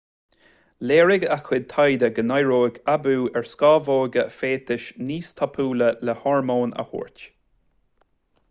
léirigh a chuid taighde go n-éireoidh aibiú ar scamhóga féatais níos tapúla le hormón a thabhairt